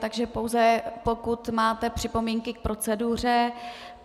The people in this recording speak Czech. Takže pouze pokud máte připomínky k proceduře.